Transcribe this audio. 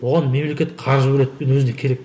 оған мемлекет қаржы бөледі өзіне керек